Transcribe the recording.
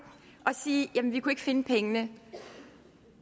og sige jamen vi kunne ikke finde pengene